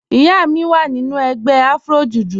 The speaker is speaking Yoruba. Ìyá mi wá nínu ègbè Afro-Jùjú